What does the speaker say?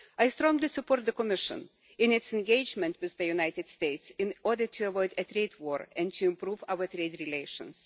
I strongly support the Commission in its engagement with the United States in order to avoid a trade war and to improve our trade relations.